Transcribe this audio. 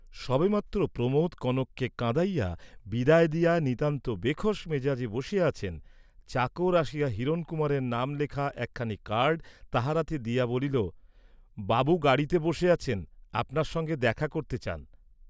সবে মাত্র প্রমোদ কনককে কাঁদাইয়া বিদায় দিয়া নিতান্ত বেখোস্ মেজাজে বসিয়া আছেন, চাকর আসিয়া হিরণকুমারের নাম লেখা একখানি কার্ড তাঁহার হাতে দিয়া বলিল বাবু গাড়ীতে বসে আছেন, আপনার সঙ্গে দেখা করতে চান।